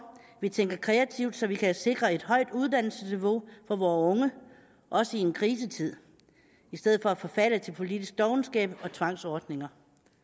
at vi tænker kreativt så vi kan sikre et højt uddannelsesniveau for vore unge også i en krisetid i stedet for at forfalde til politisk dovenskab og tvangsordninger